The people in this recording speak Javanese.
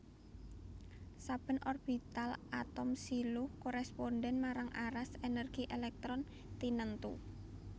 Saben orbital atom siluh korèspondhèn marang aras ènèrgi èlèktron tinentu